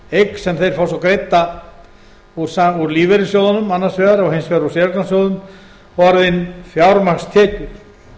eign sem þeir fá svo greidda úr lífeyrissjóðunum annars vegar og hins vegar úr séreignarsjóðum orðnar fjármagnstekjur